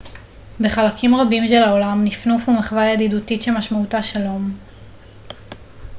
בחלקים רבים של העולם נפנוף הוא מחווה ידידותית שמשמעותה שלום